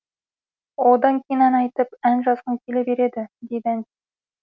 одан кейін ән айтып ән жазғың келе береді дейді ән